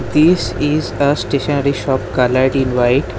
This is a stationary shop coloured in white.